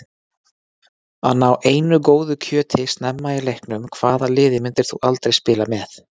Að ná einu góðu kjöti snemma í leiknum Hvaða liði myndir þú aldrei spila með?